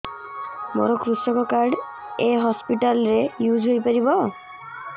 ମୋର କୃଷକ କାର୍ଡ ଏ ହସପିଟାଲ ରେ ୟୁଜ଼ ହୋଇପାରିବ